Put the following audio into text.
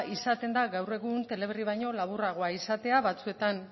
izaten da gaur egun teleberri baino laburragoa izatea batzuetan